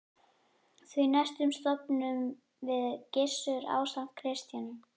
Því næst stofnuðum við Gissur ásamt Kristjáni